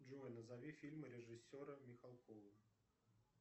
джой назови фильмы режиссера михалкова